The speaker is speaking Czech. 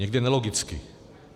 Někde nelogicky.